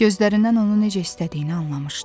Gözlərindən onu necə istədiyini anlamışdı.